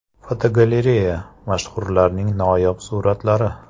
Fotogalereya: Mashhurlarning noyob suratlari.